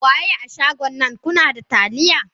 Waye a shagon nan kunada taliya.?